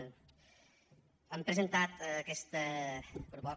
hem presentat aquesta proposta